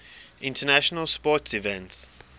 international sports events